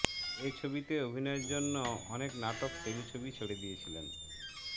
এ ছবিতে অভিনয়ের জন্য অনেক নাটক টেলিছবি ছেড়ে দিয়েছিলেন